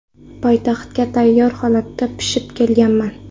Poytaxtga tayyor holatda pishib kelganman.